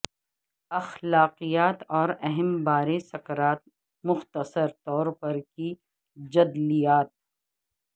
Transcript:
اخلاقیات اور اہم بارے سکرات مختصر طور پر کی جدلیات